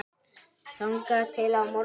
þangað til á morgun?